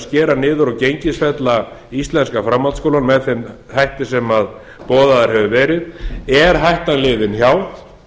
skera niður og gengisfella íslenska framhaldsskólann með þeim hætti sem boðaður hefur verið er hættan liðin hjá